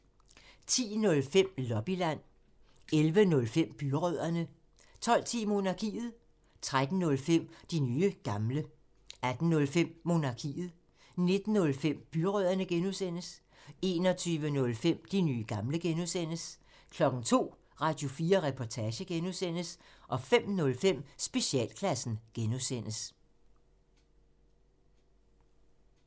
10:05: Lobbyland 11:05: Byrødderne 12:10: Monarkiet 13:05: De nye gamle 18:05: Monarkiet 19:05: Byrødderne (G) 21:05: De nye gamle (G) 02:00: Radio4 Reportage (G) 05:05: Specialklassen (G)